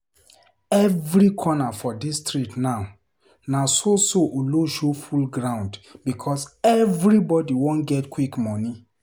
Every corner for street now, na so so olosho full ground because everybody wan get quick money.